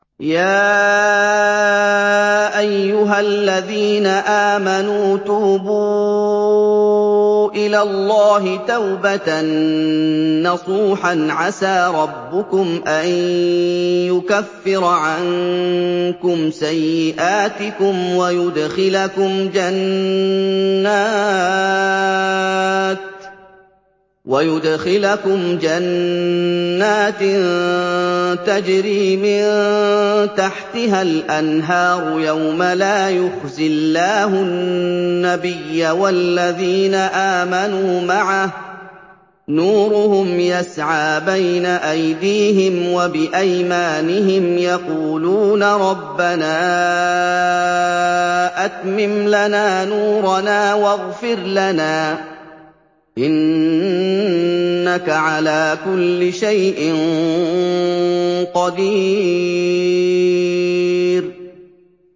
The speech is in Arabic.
يَا أَيُّهَا الَّذِينَ آمَنُوا تُوبُوا إِلَى اللَّهِ تَوْبَةً نَّصُوحًا عَسَىٰ رَبُّكُمْ أَن يُكَفِّرَ عَنكُمْ سَيِّئَاتِكُمْ وَيُدْخِلَكُمْ جَنَّاتٍ تَجْرِي مِن تَحْتِهَا الْأَنْهَارُ يَوْمَ لَا يُخْزِي اللَّهُ النَّبِيَّ وَالَّذِينَ آمَنُوا مَعَهُ ۖ نُورُهُمْ يَسْعَىٰ بَيْنَ أَيْدِيهِمْ وَبِأَيْمَانِهِمْ يَقُولُونَ رَبَّنَا أَتْمِمْ لَنَا نُورَنَا وَاغْفِرْ لَنَا ۖ إِنَّكَ عَلَىٰ كُلِّ شَيْءٍ قَدِيرٌ